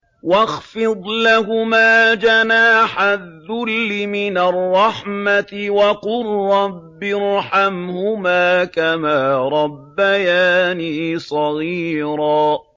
وَاخْفِضْ لَهُمَا جَنَاحَ الذُّلِّ مِنَ الرَّحْمَةِ وَقُل رَّبِّ ارْحَمْهُمَا كَمَا رَبَّيَانِي صَغِيرًا